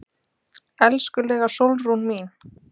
Elskulega Sólrún mín.